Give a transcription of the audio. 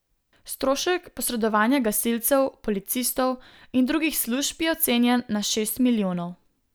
Strošek posredovanja gasilcev, policistov in drugih služb je ocenjen na šest milijonov.